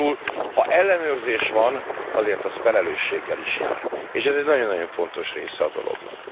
Magyarul ha ellenőrzés van, azért az felelősséggel is jár, és ez egy nagyon nagyon fontos része a dolognak.